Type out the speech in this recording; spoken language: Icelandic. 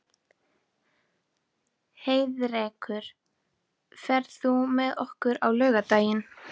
Heiðrekur, ferð þú með okkur á laugardaginn?